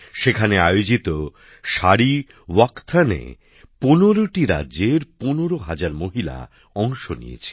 সেখানে আয়োজিত শাড়ি ওয়াকাথন এ ১৫ টি রাজ্যের ১৫ হাজার মহিলা অংশ নিয়েছিল